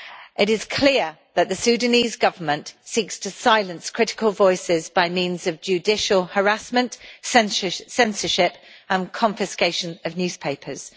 It is clear that the Sudanese Government seeks to silence critical voices by means of judicial harassment, censorship and confiscation of newspapers.